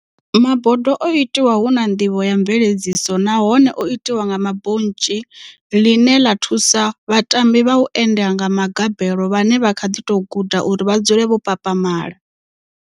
Mabodo o itwa huna ndivho ya mveledziso nahone o itwa nga ma bontshi ḽine ḽa thusa vhatambi vha u enda nga magabelo vhane vha kha ḓi tou guda uri vha dzule vho papamala.